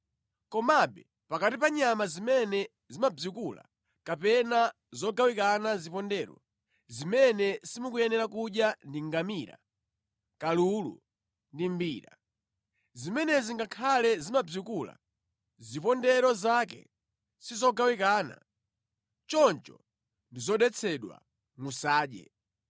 Komabe pakati pa nyama zimene zimabzikula kapena zogawikana zipondero, zimene simukuyenera kudya ndi ngamira, kalulu ndi mbira. Zimenezi ngakhale zimabzikula, zipondero zake sizogawikana, choncho ndi zodetsedwa, musadye.